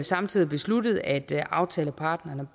samtidig besluttet at aftaleparterne